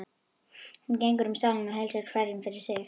Hún gengur um salinn og heilsar hverjum fyrir sig.